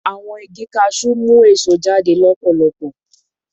Awọn igi cashew mu eso jade lọpọlọpọ